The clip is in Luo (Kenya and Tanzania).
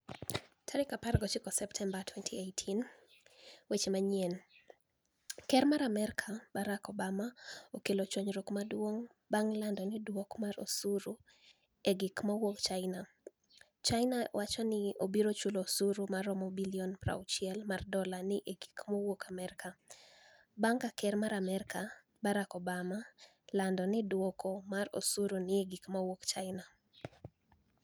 19 Septemba, 2018 weche maniyieni, Ker mar Amerka, Barak Obama okelo chwaniyruok maduonig' banig' lanido duoko mar osuru ni e gik mawuok Chinia Chinia ni e owacho nii obiro chulo osuru maromo bilioni 60 mar dola ni e gik mawuok Amerka, banig' ka ker mar Amerka, Barak Obama ni e olanido duoko mar osuru ni e gik mawuok Chinia.